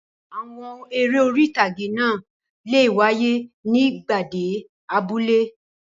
Àwọn eré orí-ìtàgé náà le wáyé ní ìgbàgede abúlé.